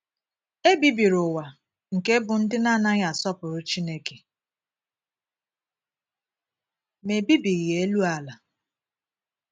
E bibiri ụwa nke bụ́ ndị na - anaghị asọpụrụ Chineke, ma e bibighị elu ala.